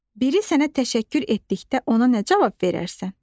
Biri sənə təşəkkür etdikdə ona nə cavab verərsən?